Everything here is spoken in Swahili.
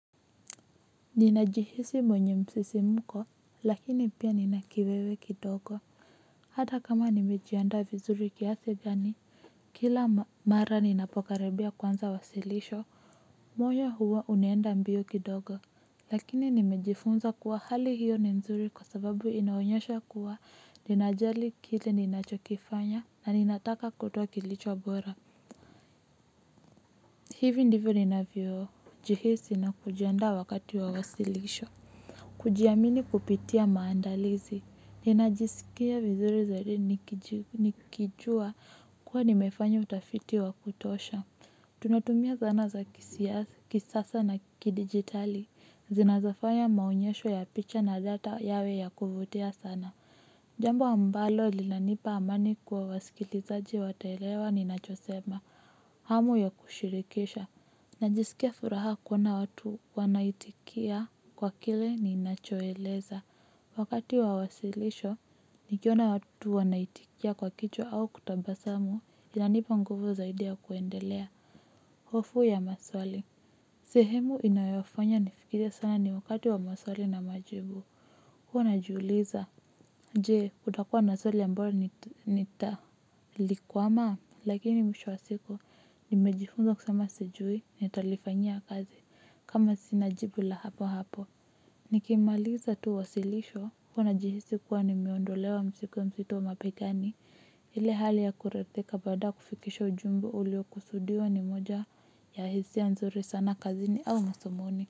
Ninajihisi mwenye msisimko lakini pia nina kiwewe kidogo. Hata kama nimejiandaa vizuri kiasi gani kila mara ninapokaribia kuanza wasilisho. Moyo huwa unaenda mbio kidogo. Lakini nimejifunza kuwa hali hiyo ni mzuri kwa sababu inaonyesha kuwa ninajali kile ninachokifanya na ninataka kutwa kilicho wabora. Hivi ndivyo ninavyojihisi na kujiandaa wakati wa wasilisho. Kujiamini kupitia maandalizi, ninajisikia vizuri zaidi nikijua kuwa nimefanya utafiti wa kutosha. Tunatumia zana za kisasa na kidigitali, zinazofanya maonyesho ya picha na data yawe ya kuvutia sana. Jambo ambalo lilanipa amani kwa wasikilizaji wataelewa ninachosema, hamu ya kushirikisha. Najisikia furaha kuona watu wanaitikia kwa kile ninachoeleza. Wakati wa wasilisho, nikiona watu wanaitikia kwa kichwa au kutabasamu inanipa nguvu zaidi ya kuendelea. Hofu ya maswali. Sehemu inayofonya nifikirie sana ni wakati wa maswali na majibu. Huwa najiuliza. Je, kutakua na swali ambayo nitalikwamaa, lakini mwisho wa siku, nimejifunza kusema sijui, nitalifanyia kazi, kama sina jibu la hapo hapo. Nikimaliza tu wasilisho, huwa najihisi kuwa nimeondolewa mzigo mzito mabegani, ile hali ya kuridhika baada kufikisha ujumbe ulio kusudiwa ni moja ya hisia nzuri sana kazini au masomoni.